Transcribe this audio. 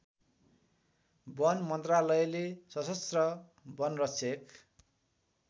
वन मन्त्रालयले सशस्त्र वनरक्षक